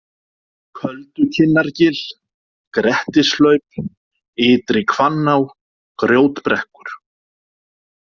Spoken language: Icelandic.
Köldukinnargil, Grettishlaup, Ytri-Hvanná, Grjótbrekkur